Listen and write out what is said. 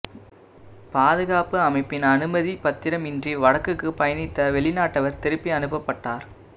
பாதுகாப்பமைச்சின் அனுமதிப் பத்திரம் இன்றி வடக்குக்கு பயணித்த வெளிநாட்டவர் திருப்பி அனுப்பப்பட்டார்